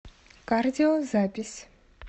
кардио запись